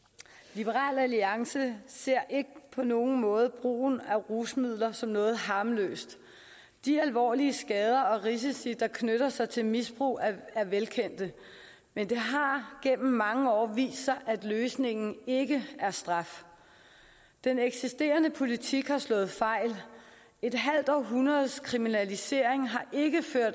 liberal alliance ser ikke på nogen måde brugen af rusmidler som noget harmløst de alvorlige skader og risici der knytter sig til misbrug er velkendte men det har gennem mange år vist sig at løsningen ikke er straf den eksisterende politik har slået fejl et halvt århundredes kriminalisering